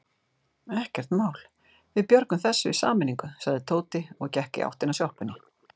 Ekkert mál, við björgum þessu í sameiningu sagði Tóti og gekk í áttina að sjoppunni.